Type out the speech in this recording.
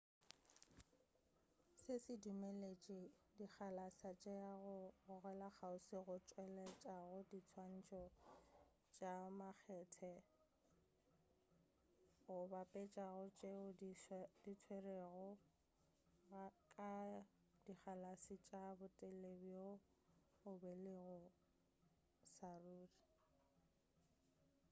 se se dumeletše dikgalase tša go gogela kgauswi go tšweletša diswantšho tša makgethe go bapetšega le tšeo di tšerwego ka dikgalase tša botelele bjoo bo beilwego sa ruri